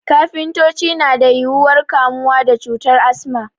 Kafintoci na da yuwuwar kamuwa da cutar Asma